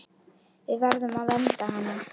Við verðum að vernda hana.